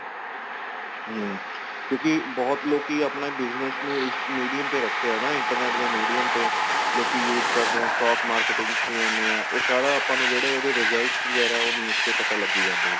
ਹਮ ਕਿਉਂਕਿ ਬਹੁਤ ਲੋਕੀ ਆਪਣਾ business ਨੂੰ ਇਸ medium ਤੇ ਰੱਖਿਆ ਨਾ internet ਦੇ medium ਤੇ ਲੋਕੀ use ਕਰਦੇ ਏ stock marketing ਚ ਜਾਂਨੇ ਏ ਉਹ ਸਾਰਾ ਆਪਾਂ ਨੂੰ ਜਿਹੜੇ results ਵਗੈਰਾ ਉਹ ਵੀ ਉਸ ਤੇ ਪਤਾ ਲੱਗੀ ਜਾਂਦੇ ਏ